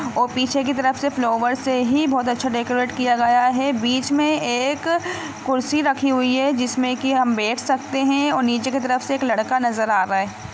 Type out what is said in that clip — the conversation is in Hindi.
और पीछे की तरफ से फ्लावेर से ही बहुत अच्छा डेकोरेट किया गया है बीच मे एक कुर्सी रखी हुई है जिसमे की हम बैठ सकते है और नीचे की तरफ से एक लड़का नज़र आ रहा है।